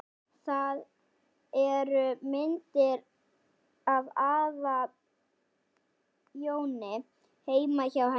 Það eru myndir af afa Jóni heima hjá henni.